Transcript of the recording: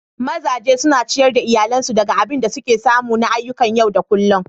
Mazaje suna ciyar da iyalinsu daga abin da suke samu na ayyukan yau da kullum.